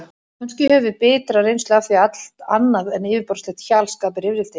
Kannski höfum við bitra reynslu af því að allt annað en yfirborðslegt hjal skapi rifrildi.